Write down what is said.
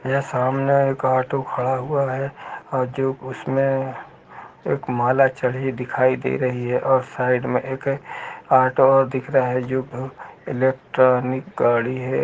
यह सामने एक ऑटो खड़ा हुआ है और जो उसमें एक माला चढ़ी हुई दिखाई दे रही है। साइड में एक ऑटो दिख रहा है जो इलेक्ट्रॉनिक गाड़ी है।